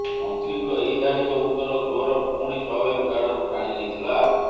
ମନ୍ତ୍ରୀଙ୍କ ଏହି ଧାଡିକ ଉତ୍ତର ଗୃହର ପୁଣି ସ୍ୱାଭାବିକ ଆଡକୁ ଟାଣିନେଇଥିଲା